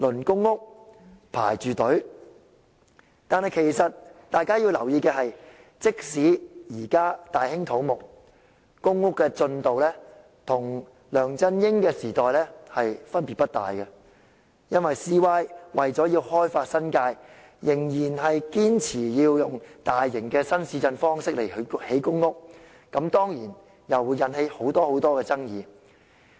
可是，大家要留意的是，即使現在大興土木，公屋的建屋進度與"前朝"分別不大，因為 CY 為要開發新界，仍然堅持要採用大型新市鎮的方式來興建公屋，此舉當然又會引起很多爭議。